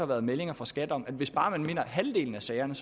været meldinger fra skat om at hvis man bare vinder halvdelen af sagerne